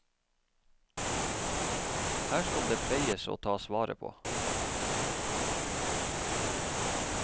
Her skal det pleies og tas vare på.